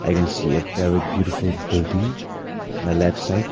I can see a very beautiful building in the left side.